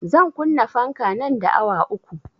Zan kunna fanka nan da awa uku